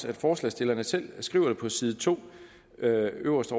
at forslagsstillerne selv skriver det på side to øverst